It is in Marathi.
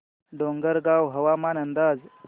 डोंगरगाव हवामान अंदाज